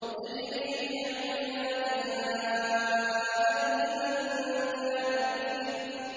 تَجْرِي بِأَعْيُنِنَا جَزَاءً لِّمَن كَانَ كُفِرَ